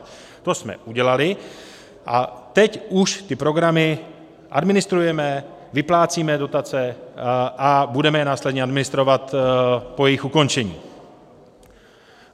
To jsme udělali a teď už ty programy administrujeme, vyplácíme dotace a budeme je následně administrovat po jejich ukončení.